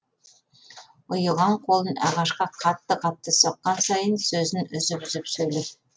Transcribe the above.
ұйыған қолын ағашқа қатты қатты соққан сайын сөзін үзіп үзіп сөйлеп